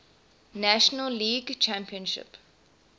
national league championship